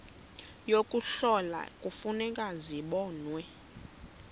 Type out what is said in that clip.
yokuhlola kufuneka zibonwe